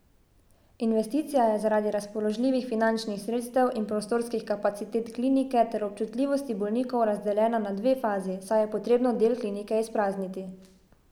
Investicija je zaradi razpoložljivih finančnih sredstev in prostorskih kapacitet klinike ter občutljivosti bolnikov razdeljena na dve fazi, saj je potrebno del klinike izprazniti.